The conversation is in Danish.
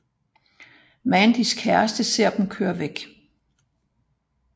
Mandys kæreste ser dem køre væk